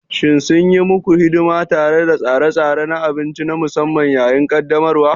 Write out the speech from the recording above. Shin sun yi muku hidima tare da tsare-tsare na abinci na musamman yayin ƙaddamarwa?